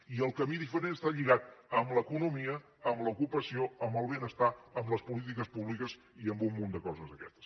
i el camí diferent està lligat a l’economia a l’ocupació al benestar a les polítiques públiques i a un munt de coses d’aquestes